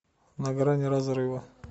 на грани разрыва